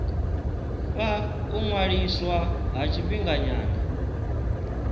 fha u ṅwaliswa ha tshifhinganyana